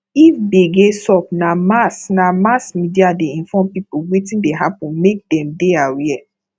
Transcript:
if gbege sup na mass na mass media dey inform people wetin dey happen make dem dey aware